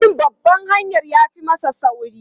Bin babban hanyar ya fi mana sauri.